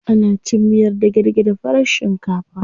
Ana cin miyar dage-dage da farar shinkafa.